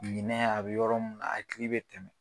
a bɛ yɔrɔ minna a hakili bɛ degun